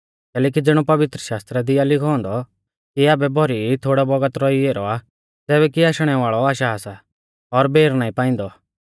कैलैकि ज़िणौ पवित्रशास्त्रा दी आ लिखौ औन्दौ कि आबै भौरी ई थोड़ौ बौगत रौई ऐरौ आ ज़ैबै कि आशणौ वाल़ौ आशा सा और बेर नाईं पांइदौ